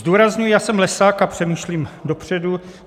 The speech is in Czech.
Zdůrazňuji, já jsem lesák a přemýšlím dopředu.